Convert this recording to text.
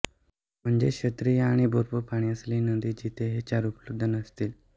म्हणजे श्रोत्रिय आणि भरपूर पाणी असलेली नदी जिथे हे चार उपलब्ध नसतील